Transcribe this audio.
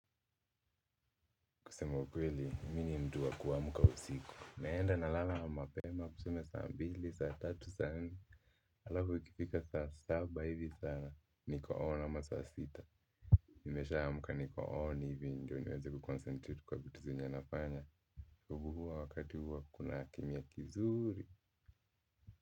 Kusema ukweli, mimi ni mtu kuamka usiku. Naenda nalala mapema, tuseme saa mbili, saa tatu, saa nne alafu ikifika saa saba hivi sana, niko on ama saa sita. Nimeshaamka niko on hivi ndo niweze kuconcentrate kwa vitu zenye nafanya. Kubuhuwa wakati huwa kuna kimnya kizuri.